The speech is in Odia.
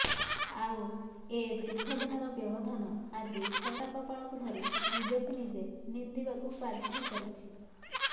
ଆଉ ଏ ଦୀର୍ଘ ଦିନର ବ୍ୟବଧାନ ଆଜି ଫଟା କପାଳକୁ ଧରି ନିଜକୁ ନିଜେ ନିନ୍ଦିବାକୁ ବାଧ୍ୟ କରୁଛି